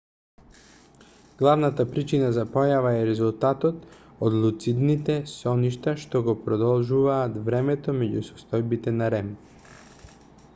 главната причина за појавава е резултатот од луцидните соништа што го продолжуваат времето меѓу состојбите на rem